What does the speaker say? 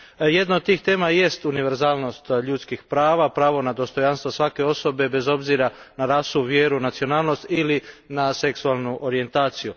Jedna od tih tema jest univerzalnost ljudskih prava, pravo na dostojanstvo svake osobe, bez obzira na rasu, vjeru, nacionalnost ili na seksualnu orijentaciju.